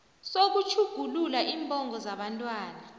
sokutjhugulula iimbongo zabantwana